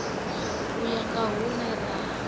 u ya nga hune ra